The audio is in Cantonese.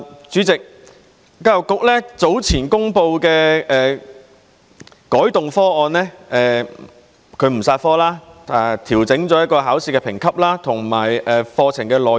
主席，教育局早前公布的改動方案是不"殺科"、調整考試評級和課程內容。